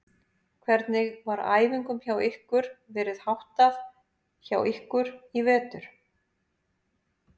Hvernig var æfingum hjá ykkur verið háttað hjá ykkur í vetur?